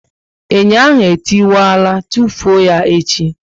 Enyo ahụ e tiwara, tufuo ya echi!